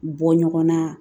Bɔ ɲɔgɔnna